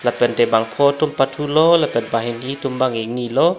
lapen te bangpho tum bang ke pathu lo banghini tum bang ke ingni lo.